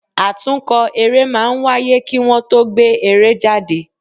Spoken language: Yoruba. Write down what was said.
Àtúnkọ eré máa ń wáyé kí Wọ́n tó gbé eré jáde.